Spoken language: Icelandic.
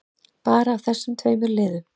Bara af þessum tveimur liðum.